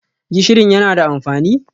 Gishirin yana da amfani?